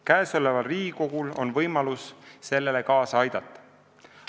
Käesoleval Riigikogul on võimalus sellele kaasa aidata.